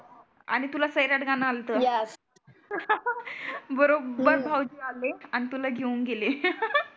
आणि तुला सैराट गाणं आलतं. बरोबर भाऊजी आले आन तुला घेऊन गेले.